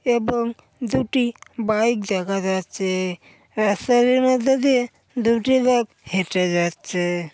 এবং দুটি বাইক দেখা যাচ্ছে রাস্তাটির মধ্যে দিয়ে দুটি লোক হেঁটে যাচ্ছে ।